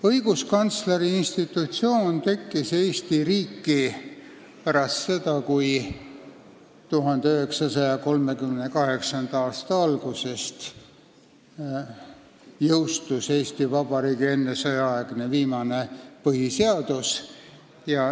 Õiguskantsleri institutsioon tekkis Eesti riigis pärast seda, kui 1938. aasta alguses oli jõustunud Eesti Vabariigi viimane ennesõjaaegne põhiseadus.